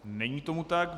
Není tomu tak.